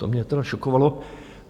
To mě teda šokovalo.